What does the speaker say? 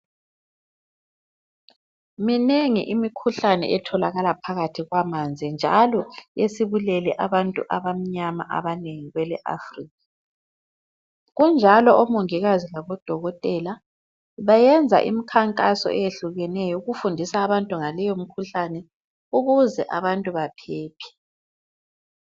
Minengi imikhuhlane etholakala phakathi kwamanzi njalo esibulele abantu abamnyama abanengi kwele Africa. Kunjalo omongikazi labodokotela bayenza imikhankaso eyehlukeneyo ukufundisa abantu ngaleyo mikhuhlane ukuze abantu baphephe.